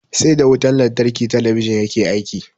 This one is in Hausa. Sai da wutan lantarki talabijin yake aiki.